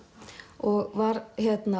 og var